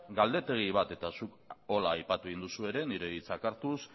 galdetegi bat eta zuk horrela aipatu egin duzu ere nire hitzak hartuz